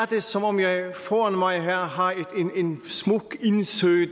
det som om jeg foran mig her har en smuk indsø